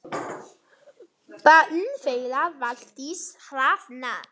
Barn þeirra Valdís Hrafna.